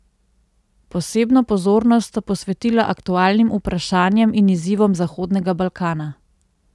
Posebno pozornost sta posvetila aktualnim vprašanjem in izzivom Zahodnega Balkana.